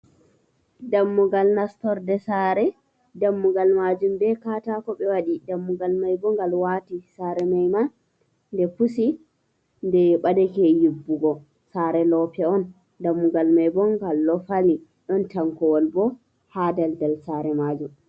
Dammugal nastorɗe sare, dammugal majum be katako ɓe waɗi dammugal mai bongal wati sare mai man nde pusi nde baɗake yibbugo sare lope on dammugal mai bo ngal ɗo fali, ɗon tankowol bo ha daldal sare majum.